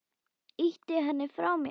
Ýti henni frá mér.